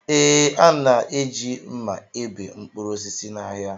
Ee, a na-eji mma ebe mkpụrụ osisi n'ahịa